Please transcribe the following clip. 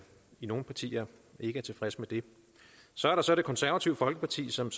i nogle partier ikke er tilfreds med det så er der så det konservative folkeparti som